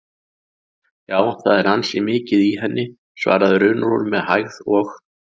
Já, það er ansi mikið í henni, svarar Runólfur með hægð og